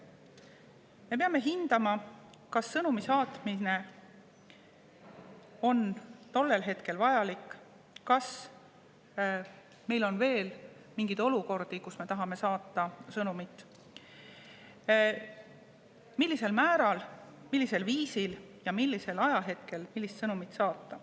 Me peame hindama, kas sõnumi saatmine on tollel hetkel vajalik, kas meil on veel mingeid olukordi, kus me tahame saata sõnumit ja millisel määral, millisel viisil ja millisel ajahetkel millist sõnumit saata.